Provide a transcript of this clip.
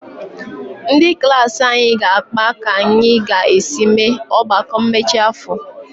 Ndị klaasị anyị ga-akpa ka anyị ga-esi mee ọgbakọ mmechi afọ.